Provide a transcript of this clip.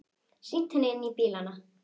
Sýnt henni inn í bílana.